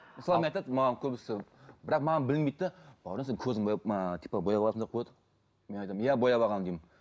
мысалы айтады маған көбісі бірақ маған білінбейді де бауыржан сен көзіңді бояп ыыы типа бояп алғансың ба деп қояды мен айтамын иә бояп алғанмын деймін